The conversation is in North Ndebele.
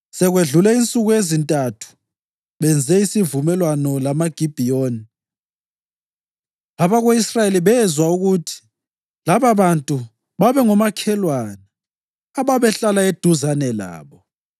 Sekwedlule insuku ezintathu benze isivumelwano lamaGibhiyoni, abako-Israyeli bezwa ukuthi lababantu babengomakhelwana, ababehlala eduzane labo.